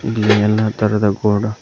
ಇಲ್ಲಿ ಎಲ್ಲಾ ತರದ ಬೋರ್ಡ್ --